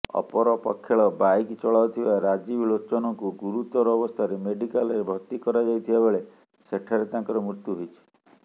ଅପରପକ୍ଷେଳ bike ଚଳାଉଥିବା ରାଜୀବ ଲୋଚନଙ୍କୁ ଗୁରୁତର ଅବସ୍ଥାରେ ମେଡିକାଲରେ ଭର୍ତ୍ତି କରାଯାଇଥିବାବେଳେ ସେଠାରେ ତାଙ୍କର ମୃତ୍ୟୁ ହୋଇଛି